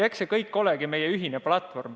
Eks see kõik ongi meie ühine platvorm.